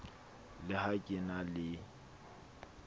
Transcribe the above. le ha ke na le